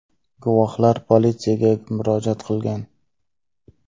Guvohlar politsiyaga murojaat qilgan.